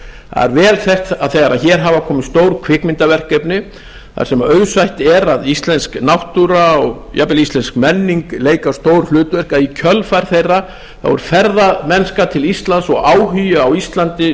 er vel þekkt að þegar hér hafa komið stór kvikmyndaverkefni þar sem auðsætt er að íslensk náttúra og jafnvel íslensk menning leika stór hlutverk að í kjölfar þeirra þá hefur ferðamennska til íslands og áhugi á íslandi